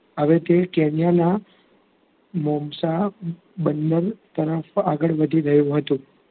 હવેથી કેનિયાનાં મોમસાં બંદર તરફ આગળ વધી રહ્યું હતું.